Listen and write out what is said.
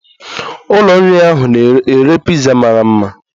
Ụlọ nri ahụ na-ere piza mara mma